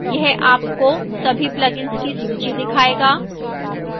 यह आपको सभी plugins की सूची दिखाएगा